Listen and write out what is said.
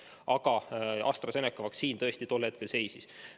Aga AstraZeneca vaktsiin tõesti tol hetkel seisis.